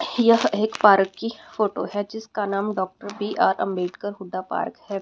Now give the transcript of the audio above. यह एक पार्क की फोटो है जिसका नाम doctor B R Ambedkar Huda park है।